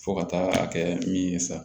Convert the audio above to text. Fo ka taa kɛ min ye sa